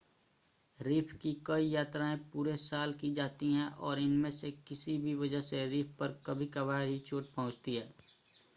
reef की कई यात्राएं पूरे साल की जाती हैं और इनमें से किसी भी वजह से रीफ़ पर कभी-कभार ही चोट पहुंचती है